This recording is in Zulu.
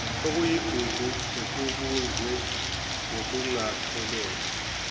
okuyigugu okubunjwe ngokungaphelele